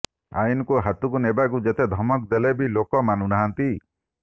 ଆଇନ୍କୁ ହାତକୁ ନେବାକୁ ଯେତେ ଧମକ ଦେଲେବି ଲୋକେ ମାନୁ ନାହାଁନ୍ତି